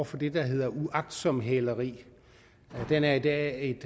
for det der hedder uagtsomt hæleri den er i dag